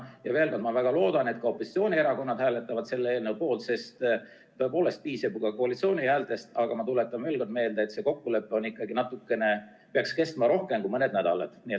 Ja veel kord: ma väga loodan, et ka opositsioonierakonnad hääletavad selle eelnõu poolt, sest tõepoolest piisab ju ka koalitsiooni häältest, aga ma tuletan meelde, et see kokkulepe peaks kestma ikkagi natuke rohkem kui mõned nädalad.